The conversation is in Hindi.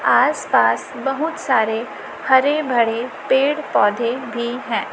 आस पास बहुत सारे हरे भड़े पेड़ पौधे भी है।